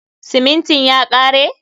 Simintin ya kare?